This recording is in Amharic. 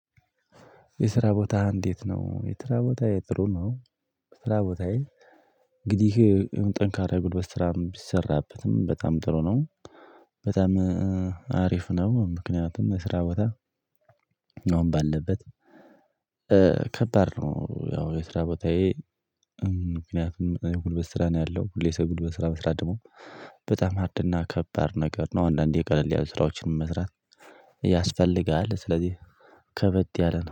የስራ ቦታ እንዴት ነው? የትራ ቦታዬ ጥሩ ነው የትራ ቦታዬ እንግዲህ ጠንካራ የጉልበት ስራም ቢሰራበትም በጣም ጥሩ ነው። በጣም እሕ አሪፍ ነው ምክንያቱም የስራ ቦታ ነው ባለበት ከባድ ነው ያው የስራ ቦታዬ ምክንያቱም ጉልበት ስራ ነው ያለው ሁሌ ሰው ጉልበት ስራ መስራት ደግሞ በጣም ሃርድና ከባድ ነገር ነው አንዳንዴ ቀለል ያሉ ስራዎችን መስራት ያስፈልጋል ስለዚህ ከበድ ያለ ነው።